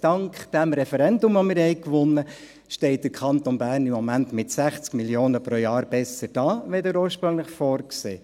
Dank dem von uns gewonnenen Referendum steht der Kanton Bern im Moment mit 60 Mio. Franken pro Jahr besser da, als ursprünglich vorgesehen.